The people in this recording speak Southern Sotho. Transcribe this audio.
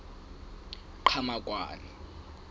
qhamakwane